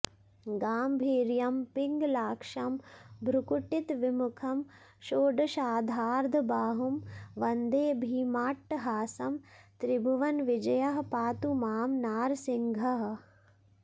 गाम्भीर्यं पिङ्गलाक्षं भ्रुकुटितविमुखं षोडशाधार्धबाहुं वन्दे भीमाट्टहासं त्रिभुवनविजयः पातु मां नारसिंहः